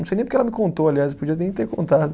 Não sei nem porque ela me contou, aliás, podia nem ter contado.